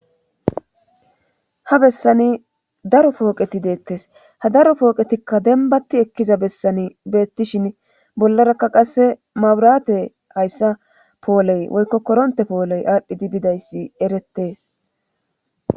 Ha bessani daro pooqeti deettes ha daro pooqetikka denbatti ekkiza bessani beettishin bollarakka qasse mawuraate hayssa pooley woykko koronte pooley aadhdhidi bidayssi erettes.